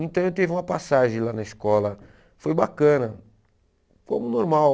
Então eu tive uma passagem lá na escola, foi bacana, como normal.